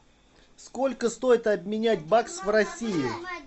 сколько стоит обменять бакс в россии